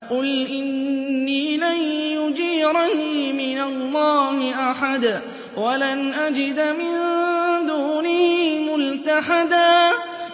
قُلْ إِنِّي لَن يُجِيرَنِي مِنَ اللَّهِ أَحَدٌ وَلَنْ أَجِدَ مِن دُونِهِ مُلْتَحَدًا